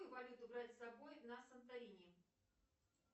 каку валюту брать с собой на санторини